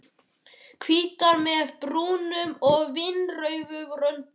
Hvítar með brúnum og vínrauðum röndum.